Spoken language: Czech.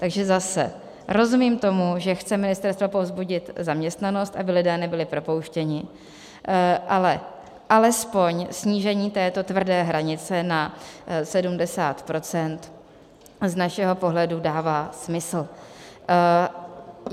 Takže zase, rozumím tomu, že chce ministerstvo povzbudit zaměstnanost, aby lidé nebyli propouštěni, ale alespoň snížení této tvrdé hranice na 70 % z našeho pohledu dává smysl.